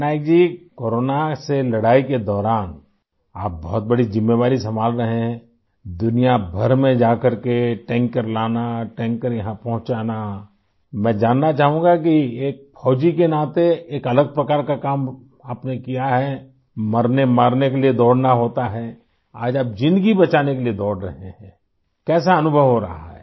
Patnaik ji corona से लड़ाई के दौरान आप बहुत बड़ी ज़िम्मेवारी संभाल रहे हैं आई दुनिया भर में जाकर के टैंकर लाना टैंकर यहाँ पहुँचाना आई मैं जानना चाहूँगा कि एक फौजी के नाते एक अलग प्रकार का काम आपने किया है आई मरनेमारने के लिए दौड़ना होता है आज आप ज़िन्दगी बचाने के लिए दौड़ रहे हैं आई कैसा अनुभव हो रहा है